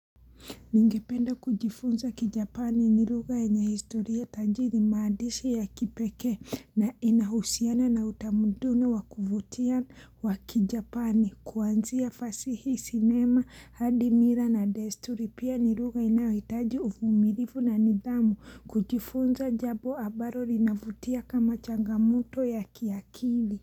Ningependa kujifunza kijapani ni lugha yenye historia tajiri maandishi ya kipekee na inahusiana na utamuduni wakuvutia waki japani kuanzia fasihi sinema hadi mila na desturi pia nilugha inayohitaji uvumilifu na nidhamu kujifunza jambo ambaro linavutia kama changamoto ya kiakili.